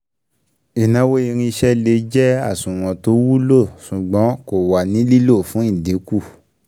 Ìnáwó irinṣẹ́ lè jẹ́ àsùnwọ̀n tó wulo, ṣùgbọ́n kò wà ní lílò fún ìdínkù